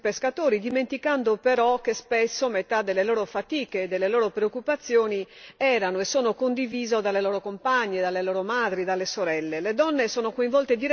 di tutelare i nostri pescatori, dimenticando però che spesso metà delle loro fatiche e delle loro preoccupazioni erano e sono condivise dalle loro compagne, dalle loro madri, dalle sorelle.